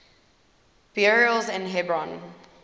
burials in hebron